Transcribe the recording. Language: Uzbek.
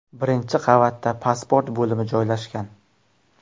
Birinchi qavatda pasport bo‘limi joylashgan.